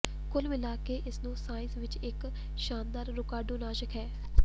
ਕੁੱਲ ਮਿਲਾ ਕੇ ਇਸ ਨੂੰ ਸਾਈਨਸ ਵਿੱਚ ਇੱਕ ਸ਼ਾਨਦਾਰ ਰੋਗਾਣੂਨਾਸ਼ਕ ਹੈ